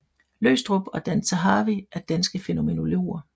Løgstrup og Dan Zahavi er danske fænomenologer